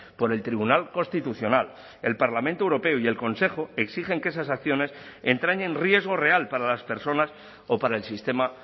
por el tribunal constitucional el parlamento europeo y el consejo exigen que esas acciones entrañen riesgo real para las personas o para el sistema